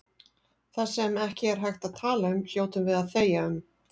Það sem ekki er hægt að tala um hljótum við að þegja um.